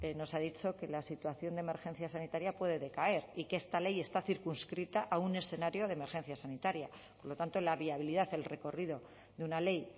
nos ha dicho que la situación de emergencia sanitaria puede decaer y que esta ley está circunscrita a un escenario de emergencia sanitaria por lo tanto la viabilidad el recorrido de una ley